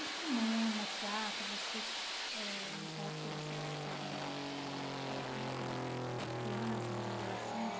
E cinema, teatro, vocês eh, nessa época, vocês estavam eh, na época de criança, ou mesmo adolescente,